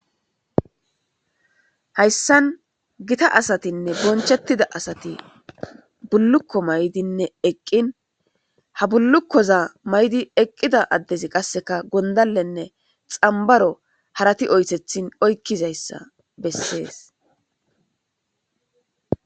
Hayisan gitta asatinee bonichetida asati buluko ma'idine eqin ha bulukoza ma'idi eqiza adezi qasika gondalen xanibaro harati oyisethin oyikidaysa beses